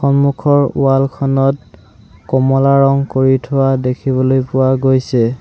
সন্মুখৰ ৱাল খনত কমলা ৰং কৰি থোৱা দেখিবলৈ পোৱা গৈছে।